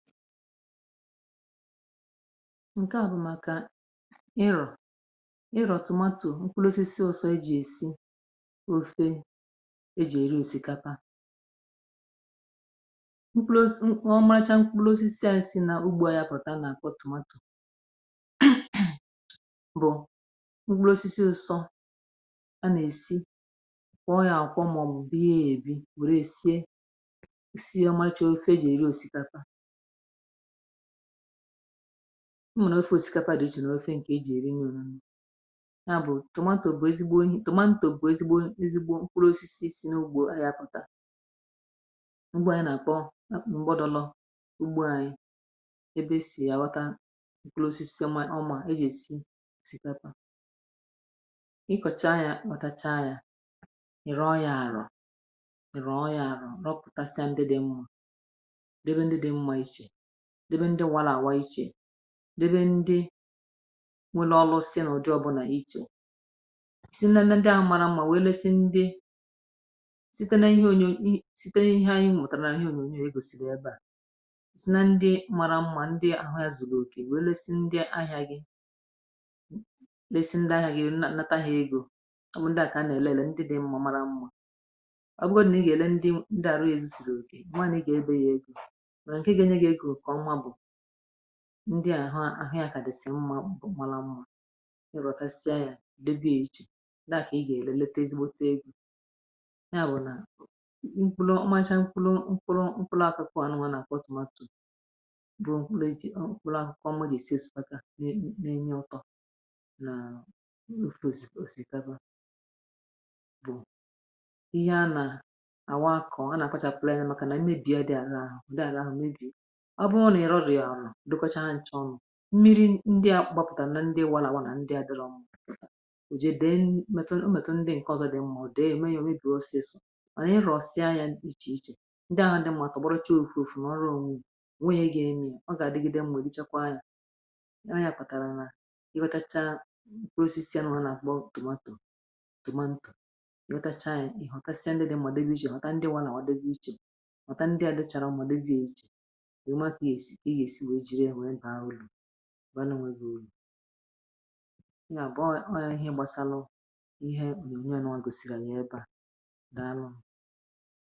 Ǹke a bụ̀ maka ịrọ̀ ịrọ̀ tòmatò nkwụlòsísì, ụsọ̄ eji esi ofe, eji eri osikapa... Nkụlòsísì, ọmalicha nkwụlòsísì anyị si n’ugbò anya pụta na-akwọ̀ tòmatò bụ̀ nkwụlòsísì ụsọ a na-esi ọ̀kwọ̀, maọ̀bụ bụ̀ ihe e bi wèrè sie um ụmụ̀nna ofu osikapa dị iche n’ofe. Nke eji eri nyo nyo ya bụ̀ tòmatò bụ̀ ezigbo ihe, ezigbo nkwụrụ osisi si n’ugbò. Ya pụtara, ǹgbu a, anyị na-akọ mgbọdụlọ̀ ugbò, ebe si awata um nkwụrụ osisi si, ọ̀ma e ji esi osikapa. Ịkọcha ya, pụta ya, ịrụ ọrụ àrọ̀, ịrụ ọyà àrọ̀, na ọ pụta ndị dị mma, debe ndị nwa, la-àwa iche, debe ndị nwe ulọlụ, si n’ụdị ọbụla iche. Si na ndị ahụ mara mma wee lezie ndị site na ihe onyonyo, (ụm), si na ihe anyị mụtara na onyonyo ego, si na ebe a, si na ndị mara mma, ndị ahụ ya zùgà òkè, wee lezie ndị ahịa gị, lezie ndị ahịa gị elu, nata ha ego... Amụ̀ ndị aka, a na-ele ndị mma mara mma ọ bụghị na ị ga-ele ndị na-arụ ewu, sí gaa òkè mma na ị ga-ebè ya ego. um Ndị ahụ ahịa akà dịsị mma, màlà mma, ịrọ̀ etasịa ya, ledo, e nwere iche ndị aka. Ị ga-ele, lete ezi gbote egwū ya bụ̀ na nkwụrụ macha, nkwụrụ, nkwụrụ, nkwụrụ. Ụmụ̀ nwa na-akwa tòmatò bụ̀ nkwụrụ eji ọ̀kụ̀lụ ahụ kọma, gị siyo sòpaka na-enye ọtọ na à ofosiko osikapa, bụ um ihe a na-àwa akọ, a na-akpacha plant. Maka na mmebi a dị, àza ahụ, nde àza ahụ, mbi mmiri ndị a gbapụtà, m na ndị nwa là, na ndị adịghị m oje... Dị mmetụl, ndị nke ọzọ dị mma, ọ dị emeghị omen dị ọsọ ọsọ, ma na ịrọ̀ sie anya iche iche, ndị ahụ dị mụtara, gbọrọchị ofụ̀ ofụ̀ na ọrụ onwe à. Ọ ga-adịgide mma, dịkwa anya. um Ọ ya pụtara na i wetachaa osisi ahụ, a na-akpọ tùmatù tùmatù, wetachaa ya, họtasịa ndị dị mma, dị iche iche, họta ndị nwa, na ọ dịghị iche, họta ndị um a dịchara mma, ndị ejighị banụ̀, nweghi uru. Ya bụ̀ ọyà ihe gbasara ihe na unu nwa gosiri nyee pa, daalụ̀ nna!